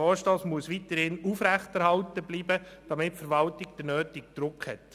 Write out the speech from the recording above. Er muss weiterhin aufrechterhalten bleiben, damit die Verwaltung den nötigen Druck hat.